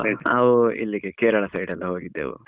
ನಾವು ಇಲ್ಲಿಗೆ Kerala side ಎಲ್ಲ ಹೋಗಿದ್ದೆವು .